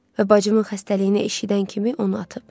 Və bacımın xəstəliyini eşidən kimi onu atıb.